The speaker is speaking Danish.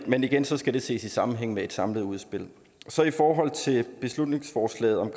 men igen skal det ses i sammenhæng med et samlet udspil i forhold til beslutningsforslaget om